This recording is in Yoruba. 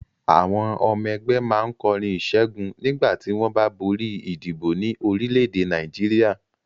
Àwọn ọmọ ẹgbẹ́ máa ń kọrin ìṣẹ́gun nígbà tí wọ́n bá borí ìdìbò ní orílẹ̀-èdè Nàìjíríà.